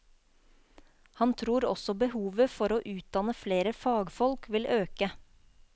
Han tror også behovet for å utdanne flere fagfolk vil øke.